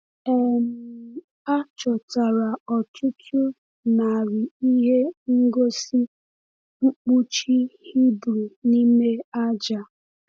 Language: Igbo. um A chọtara ọtụtụ narị ihe ngosi mkpuchi Hibru n’ime aja.